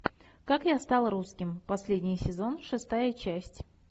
как я стал русским последний сезон шестая часть